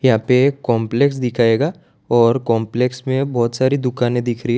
यहां पे एक कॉम्प्लेक्स दिखाएगा और कॉम्प्लेक्स में बहोत सारी दुकाने दिख रही --